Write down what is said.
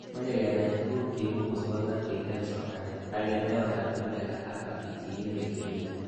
Mache kenai tuguk cheibu musognatet eng' somanet ak kenai oratinwek alak ak pichinwek chemii